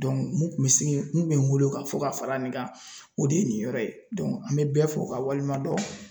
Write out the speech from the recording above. mun kun bɛ sigin, mun kun bɛ n bolo ka fɔ ka fara nin kan o de ye nin yɔrɔ ye an bɛ bɛɛ fɔ ka waleɲuman dɔn ,